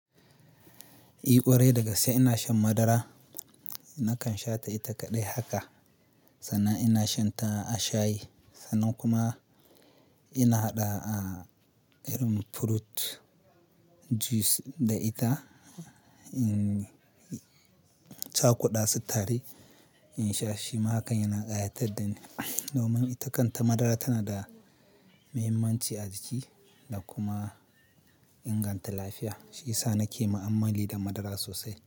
I ƙwarai, daga ske ina shan madara. Nakan sha ta ita kaɗai haka, sannan ina shanta a shayi, sannan kuma ina haɗa a ɗa'a irin fruit juice da ita. In ca aku ɗa sutare in sha, shima hakan yana ƙayatar da ni. Domin ita kanta madara tana da muhimmanci a jiki da kuma inganta lafiya. Shi sa nake ma'ammali da madara sosai.